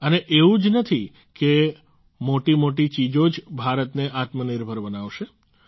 અને એવું જ નથી કે મોટીમોટી ચીજો જ ભારતને આત્મનિર્ભર બનાવશે